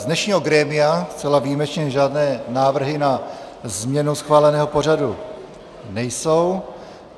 Z dnešního grémia zcela výjimečně žádné návrhy na změnu schváleného pořadu nejsou.